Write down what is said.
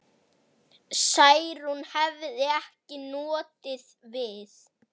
Særúnar hefði ekki notið við.